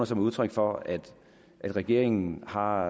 som udtryk for at regeringen har